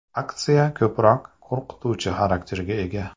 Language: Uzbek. Aksiya ko‘proq qo‘rqituvchi xarakterga ega.